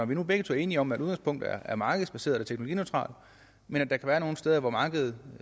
vi nu begge er enige om at udgangspunktet er markedsbaseret og teknologineutralt men at der kan være nogle steder hvor markedet